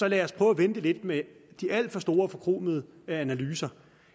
lad os prøve at vente lidt med de alt for store og forkromede analyser